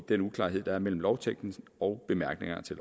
den uklarhed der er mellem lovteksten og bemærkningerne til